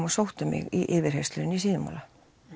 og sóttu mig í yfirheyrslur í Síðumúla